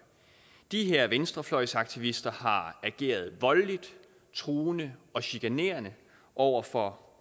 de her venstrefløjsaktivister har ageret voldeligt truende og chikanerende over for